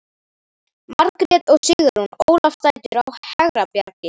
Margrét og Sigrún Ólafsdætur á Hegrabjargi